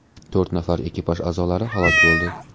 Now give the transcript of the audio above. To‘rt nafar ekipaj a’zolari halok bo‘ldi.